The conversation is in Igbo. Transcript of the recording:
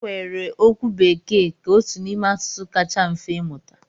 E weere okwu Bekee ka otu n'ime asụsụ kacha mfe ịmụta.